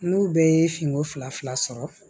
N'u bɛɛ ye finko fila fila sɔrɔ